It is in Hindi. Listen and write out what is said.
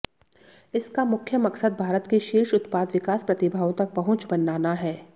इसका मुख्य मकसद भारत की शीर्ष उत्पाद विकास प्रतिभाओं तक पहुंच बनाना है